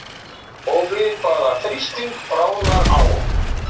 Og við hvaða þrýsting bráðnar ál?